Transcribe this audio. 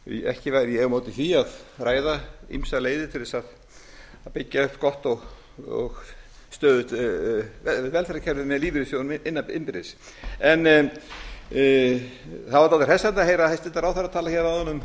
ekki væri ég á móti því að ræða ýmsar leiðir til þess að byggja upp gott og stöðugt velferðarkerfi með lífeyrissjóðina innbyrðis það var dálítið hressandi að heyra hæstvirtur ráðherra tala hér áðan